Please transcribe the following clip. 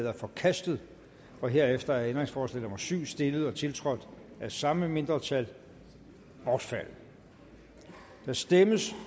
er forkastet herefter er ændringsforslag nummer syv stillet og tiltrådt af samme mindretal bortfaldet der stemmes